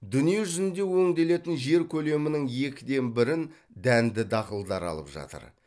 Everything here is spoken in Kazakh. дүние жүзінде өңделетін жер көлемінің екіден бірін дәнді дақылдар алып жатыр